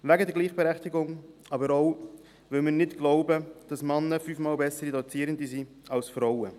Wegen der Gleichberechtigung, aber auch, weil wir nicht glauben, dass Männer fünfmal bessere Dozierende sind als Frauen.